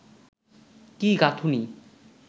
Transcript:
কি গাঁথুনি